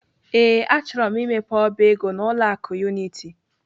Ee, achọrọ m imepe ọba ego n'ụlọ akụ Unity.